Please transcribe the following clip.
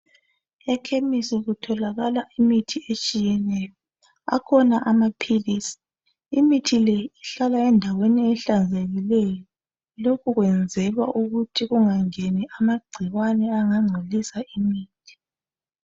Ekhemisi kutholakala imithi etshiyeneyo, akhona amaphilisi. Imithi le ihlala endaweni ehlanzekileyo. Lokhu kwenzelwa ukuthi kungangeni amagcikwane angangcolisa imithi.